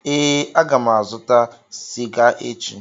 Ee, aga m azụta sịga echi.